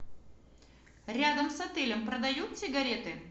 рядом с отелем продают сигареты